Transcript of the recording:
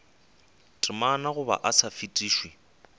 temana goba o sa fetišwe